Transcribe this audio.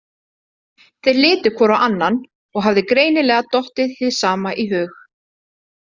Þeir litu hvor á annan og hafði greinilega dottið hið sama í hug.